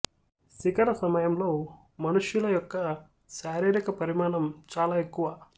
శిఖర సమయంలో మనుష్యుల యొక్క శారీరక పరిమాణం చాలా ఎక్కువ